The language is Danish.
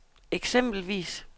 eksempelvis